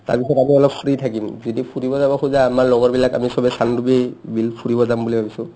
তাৰপিছত আমি অলপ free থাকিম যদি ফুৰিব যাব খোজা আমাৰ লগৰবিলাক আমি চবে চানডুবি বিল ফুৰিব যাম বুলি ভাবিছো